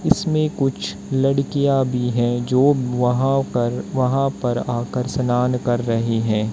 इसमें कुछ लड़कियां भी है जो वहां कर वहां पर आकर स्थान कर रहे हैं।